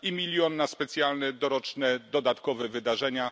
I milion na specjalne doroczne dodatkowe wydarzenia.